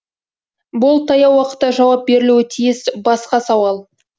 бұл таяу уақытта жауап берілуі тиіс басқа сауал